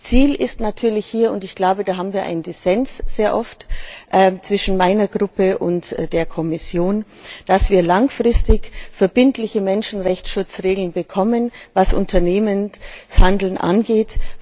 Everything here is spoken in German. Ziel ist natürlich hier und ich glaube, da haben wir sehr oft einen Dissens zwischen meiner Fraktion und der Kommission dass wir langfristig verbindliche Menschenrechtsschutzregeln bekommen, was Unternehmenshandeln angeht.